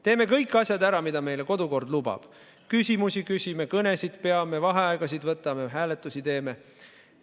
Teeme kõik asjad ära, mida meile kodukord lubab: küsimusi küsime, kõnesid peame, vaheaegasid võtame, hääletusi teeme.